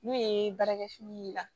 N'o ye baarakɛ fini y'i la